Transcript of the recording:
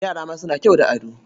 Yara ma suna kyau da ado.